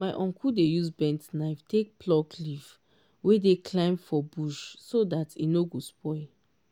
my uncle dey use bent knife take pluck leaf wey dey climb for bush so dat e nor go spoil